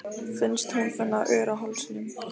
Finnst hún finna ör á hálsinum.